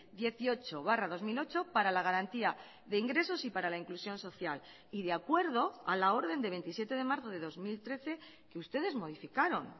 dieciocho barra dos mil ocho para la garantía de ingresos y para la inclusión social y de acuerdo a la orden de veintisiete de marzo de dos mil trece que ustedes modificaron